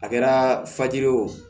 A kɛra faji ye o